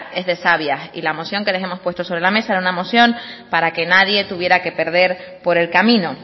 es de sabias y la moción que les hemos puesto sobre la mesa era una moción para que nadie tuviera que perder por el camino